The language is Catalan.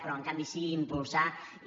però en canvi sí impulsar i